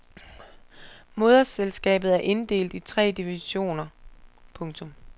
Moderselskabet er inddelt i tre divisioner. punktum